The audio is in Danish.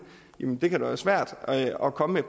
jamen det kan være svært at komme med